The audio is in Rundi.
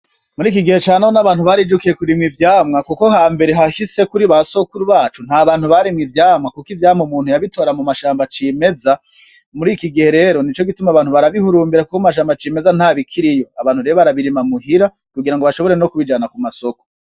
Muriki gihe canone abantu barijukiye kurimwa ivyamwa, kuko hambere hahise kuri ba sokuru bacu nta bantu barima ivyamwa, kuko ivyamwa umuntu yabitora mu mashamba acimeza muri iki gihe rero ni cogituma abantu barabihurumbira ko mu mashamba acimeza ntabikiriyo, abantu rero barabirima muhira kugira ngo bashobore no kubijana ku masoko.